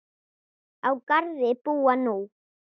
Á Garði búa nú